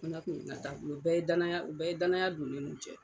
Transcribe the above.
U bɛɛ ye danaya u bɛɛ ye danaya don ne nun cɛ.